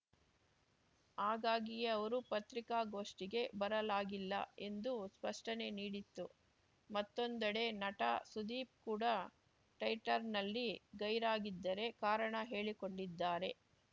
ಹಾಗಾಗಿಯೇ ಅವರು ಪತ್ರಿಕಾಗೋಷ್ಠಿಗೆ ಬರಲಾಗಿಲ್ಲ ಎಂದು ಸ್ಪಷ್ಟನೆ ನೀಡಿತ್ತು ಮತ್ತೊಂದೆಡೆ ನಟ ಸುದೀಪ್‌ ಕೂಡ ಟೈಟರ್‌ನಲ್ಲಿ ಗೈರಾಗಿದ್ದರೆ ಕಾರಣ ಹೇಳಿಕೊಂಡಿದ್ದಾರೆ